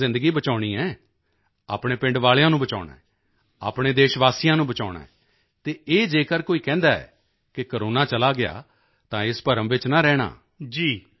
ਅਸੀਂ ਤਾਂ ਜ਼ਿੰਦਗੀ ਬਚਾਉਣੀ ਹੈ ਆਪਣੇ ਪਿੰਡ ਵਾਲਿਆਂ ਨੂੰ ਬਚਾਉਣਾ ਹੈ ਆਪਣੇ ਦੇਸ਼ ਵਾਸੀਆਂ ਨੂੰ ਬਚਾਉਣਾ ਹੈ ਅਤੇ ਇਹ ਜੇਕਰ ਕੋਈ ਕਹਿੰਦਾ ਹੈ ਕਿ ਕੋਰੋਨਾ ਚਲਾ ਗਿਆ ਤਾਂ ਇਸ ਭਰਮ ਵਿੱਚ ਨਾ ਰਹਿਣਾ